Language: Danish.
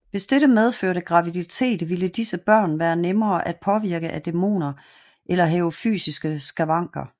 Hvis dette medførte graviditet ville disse børn være nemmere at påvirke af dæmoner eller have fysiske skavanker